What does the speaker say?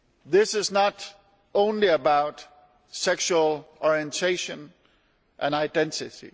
This is not only about sexual orientation and identity.